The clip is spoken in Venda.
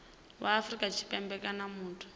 wa afrika tshipembe kana muthu